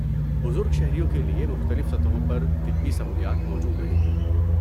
بزرگ شہریوں کے لیے مختلف سطحوں پر طبی سہولیات موجود رہیں گی۔